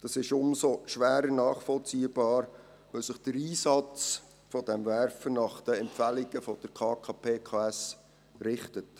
Das ist umso schwerer nachvollziehbar, als sich der Einsatz dieses Werfers nach den Empfehlungen der Konferenz der kantonalen Polizeikommanden (KKPKS) richtet.